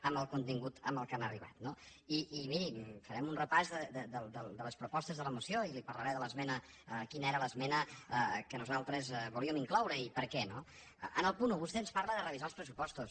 amb el contingut a què han arribat no i miri farem un repàs de les propostes de la moció i li parlaré de quina era l’esmena que nosaltres volíem incloure i per què no en el punt un vostè ens parla de revisar els pressupostos